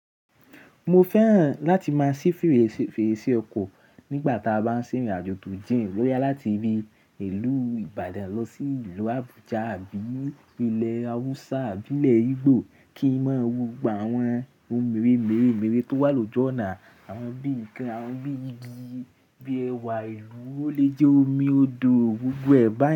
Mo fẹ́ràn láti máa ṣí fèrèsé ọkọ̀ nígbà tá a bá ń ṣe ìrìn àjò tó jìn. Boya láti bii ìlú Ìbàdàn lọ sí ìlú Abuja àbí ilẹ̀ Hausa àbí ilẹ̀ Igbo, kí n máa wo gbogbo àwọn ohun mèremeremere tó wà lójú ọ̀nà, àwọn bí i igi, àwọn bí i igi, bíi ẹwà ìlú, ó lè jẹ́ omi odò, gbogbo ẹ̀ bá.